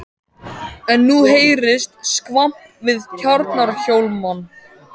En nú heyrðist skvamp við Tjarnarhólmann.